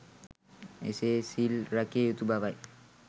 එසේ සිල් රැකිය යුතු බවයි.